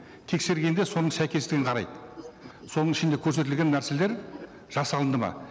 тексергенде соның сәйкестігін қарайды соның ішінде көрсетілген нәрселер жасалынды ма